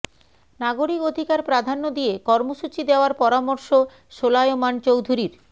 নাগরিক অধিকার প্রাধান্য দিয়ে কর্মসূচি দেওয়ার পরামর্শ সোলায়মান চৌধুরীর